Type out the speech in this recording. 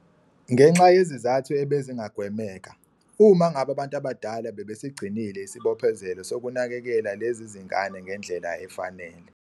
.ngenxa yezizathu ebezingagwemeka, uma ngabe abantu abadala bebesigcinile isibophezelo sokunakekela lezi zingane ngendlela efanele.